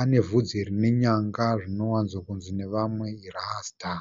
ane vhudzi rine nyanga zvinowanzo kunzi nevamwe rasita.